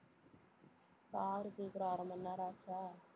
பாரு சீக்கிரம் அரை மணி நேரம் ஆச்சா